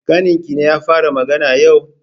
Ƙaninkine ya fara magana yau?